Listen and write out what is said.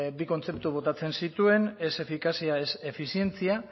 bi kontzeptu botatzen zituen ez efikazia ez efizientzia